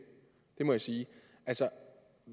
det må jeg sige altså